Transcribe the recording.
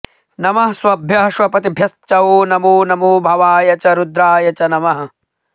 नमः श्वभ्यः श्वपतिभ्यश्च वो नमो नमो भवाय च रुद्राय च नमः